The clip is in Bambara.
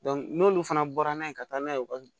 n'olu fana bɔra n'a ye ka taa n'a ye u ka